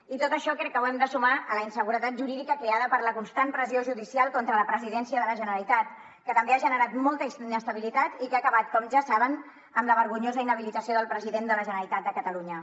i tot això crec que ho hem de sumar a la inseguretat jurídica creada per la constant pressió judicial contra la presidència de la generalitat que també ha generat molta inestabilitat i que ha acabat com ja saben amb la vergonyosa inhabilitació del president de la generalitat de catalunya